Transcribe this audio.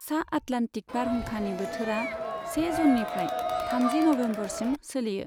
सा आटलान्टिक बारहुंखानि बोथोरा से जूननिफ्राय थामजि नबेम्बरसिम सोलियो।